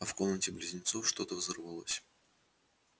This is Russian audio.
а в комнате близнецов что-то взорвалось